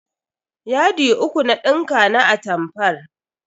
Yadi uku na dinka na atamfar.